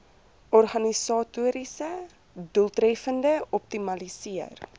organisatoriese doeltreffendheid optimaliseer